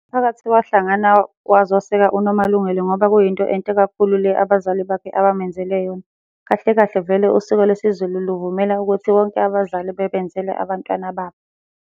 Umphakathi wahlangana wazoseka uNomalungelo ngoba kuyinto enhle kakhulu le abazali bakhe abamenzele yona. Kahle kahle vele usiko lwesiZulu luvumela ukuthi bonke abazali bebenzele abantwana babo.